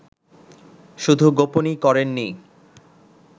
শুধু গোপনই করেননি